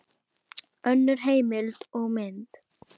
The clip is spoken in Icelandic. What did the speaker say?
Önnur heimild og mynd